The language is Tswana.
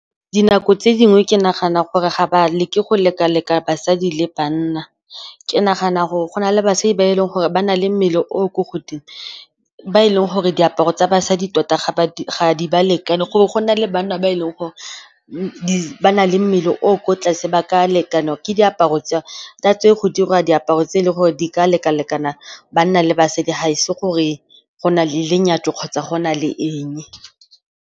Dinako tse dingwe ke nagana gore ga ba leke go leka-leka basadi le banna. Ke nagana gore go na le basadi ba e leng gore ba na le mmele o ko godimo, ba e leng gore diaparo tsa basadi tota ga di ba lekane. Gore go na le banna ba e leng gore ba na le mmele o ko tlase ba ka lekanwa ke diaparo tsa tse go dirwa diaparo tse e leng gore di ka lekalekana banna le basadi. Ga e se gore go na le lenyatso kgotsa go na le eng.